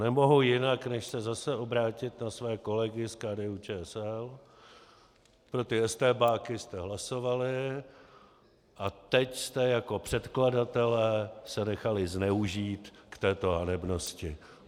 Nemohu jinak, než se zase obrátit na své kolegy z KDU-ČSL: pro ty estébáky jste hlasovali a teď jste jako předkladatelé se nechali zneužít k této hanebnosti.